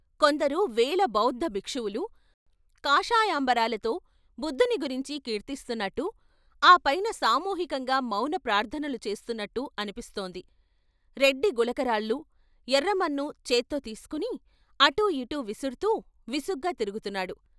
కొందరు వేల బౌద్ధ భిక్షువులు కాషాయాంబరాలతో బుద్ధుని గురించి కీర్తిస్తున్నట్టు, ఆ పైన సామూహికంగా మౌన ప్రార్థనలు చేస్తున్నట్టు అనిపిస్తోంది, రెడ్డి గులకరాళ్లు, ఎర్రమన్ను చేత్తో తీసుకొని అటూ ఇటూ విసుర్తూ విసుగ్గా తిరుగుతున్నాడు.